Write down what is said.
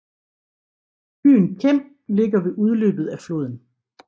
Byen Kem ligger ved udløbet af floden